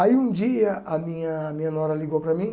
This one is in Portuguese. Aí um dia a minha minha nora ligou para mim,